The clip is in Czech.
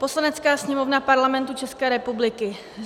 "Poslanecká sněmovna Parlamentu České republiky